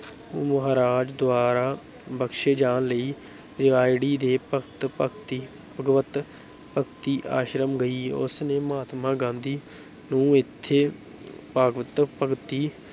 ਮਹਾਰਾਜ ਦੁਆਰਾ ਬਖਸ਼ੇ ਜਾਣ ਲਈ ਰਿਵਾੜੀ ਦੇ ਭਗਤ ਭਗਤੀ ਭਗਵਤ ਭਗਤੀ ਆਸ਼ਰਮ ਗਈ, ਉਸ ਨੇ ਮਹਾਤਮਾ ਗਾਂਧੀ ਨੂੰ ਇੱਥੇ ਭਾਗਵਤ ਭਗਤੀ